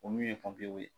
O min ye ye